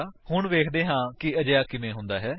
ਹੁਣ ਵੇਖਦੇ ਹਨ ਕਿ ਅਜਿਹਾ ਕਿਵੇਂ ਕਰਦੇ ਹਨ